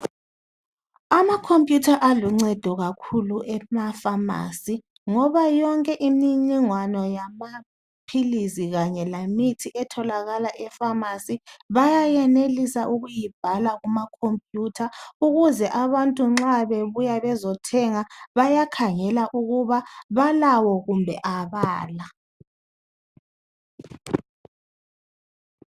Amakhompiyutha aluncedo kakhulu emafamasi ngoba yonke imininingwana yamaphilisi kanye lemithi etholakala efamasi bayenelisa ukuyibhala kumakhompiyutha ukuze abantu nxa bebuya bezothenga bayakhangela ukuba balawo kumbe abala.